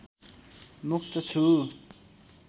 मुक्त छु